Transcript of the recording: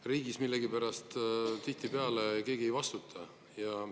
Riigis millegipärast tihtipeale keegi ei vastuta.